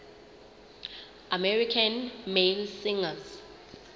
american male singers